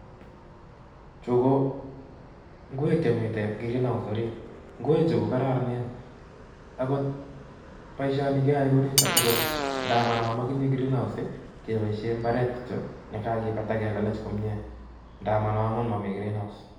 Ju ko ngwek chemi cs{greenhouse}cd orit ngweju kokararanen angot boishoni keae eng olit ndamano makitinye cs{greenhouse}cs kebaishe imbaret kityo akipat ak kelelech komnye ndamano amu Mami cs{greenhouse}cs